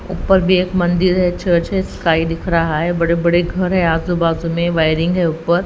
ऊपर भी एक मंदिर है चर्च है स्काई दिख रहा है बड़े-बड़े घर है आजू-बाजू में वायरिंग है ऊपर--